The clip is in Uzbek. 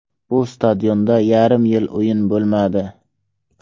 Bu stadionda yarim yil o‘yin bo‘lmadi.